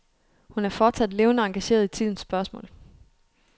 Hun er fortsat levende engageret i tidens spørgsmål.